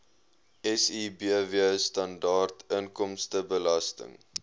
sibw standaard inkomstebelasting